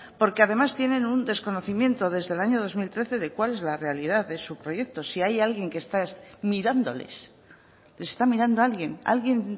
porque además tienen un desconocimiento desde el año dos mil trece de cuál es la realidad de su proyecto si hay alguien mirándoles les está mirando alguien alguien